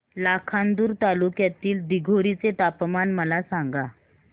लाखांदूर तालुक्यातील दिघोरी चे तापमान मला सांगा